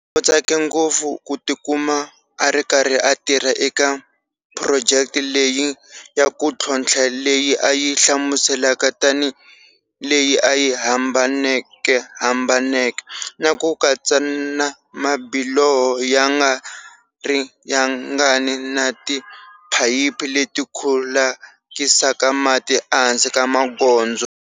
U tsake ngopfu ku tikuma a ri karhi a tirha eka phurojeke leyi ya ku tlhontlha leyi a yi hlamuselaka tanihi leyi a yi hambanekehambaneke na ku katsaka na mabiloho ya nga ri yangani na tiphayiphi leti khulukisaka mati ehansi ka magondzo.